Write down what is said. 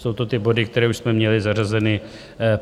Jsou to ty body, které už jsme měli zařazeny.